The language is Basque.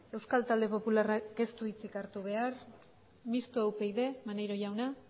euskal talde popularrak ez du hitzik hartu behar mistoa upyd maneiro jauna